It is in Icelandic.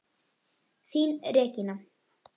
Þín, Regína.